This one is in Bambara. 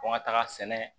Ko n ka taga sɛnɛ